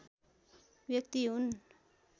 व्यक्ति हुन्